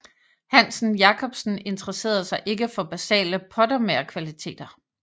Hansen Jacobsen interesserede sig ikke for basale pottemagerkvaliteter